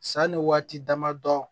Sanni waati dama dɔ